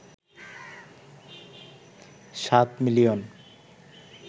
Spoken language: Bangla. ৭ মিলিয়ন